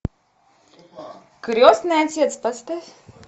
крестный отец поставь